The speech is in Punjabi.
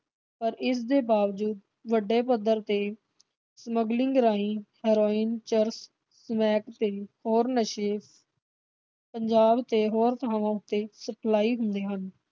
ਪਰ ਇਸ ਦੇ ਬਾਵਜੂਦ ਵੱਡੇ ਪੱਧਰ ਤੇ smuggling ਰਾਹੀ ਹੀਰੋਇਨ, ਚਰਸ, ਸਮੈਕ ਤੇ ਹੋਰ ਨਸ਼ੇ ਪੰਜਾਬ ਤੇ ਹੋਰ ਥਾਵਾਂ ਤੇ ਸਪਲਾਈ ਹੁੰਦੇ ਹਨ।